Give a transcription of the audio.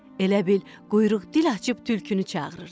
Elə bil quyruq dil açıb tülkünü çağırırdı.